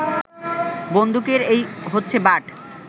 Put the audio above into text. বন্দুকের এই হচ্ছে বাঁট